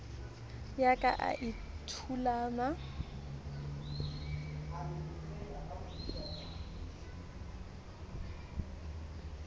ya ka e a thulama